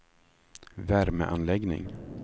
värmeanläggning